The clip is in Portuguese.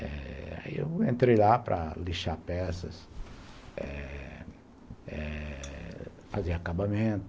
Eh... aí eu entrei lá para lixar peças, eh eh fazer acabamento,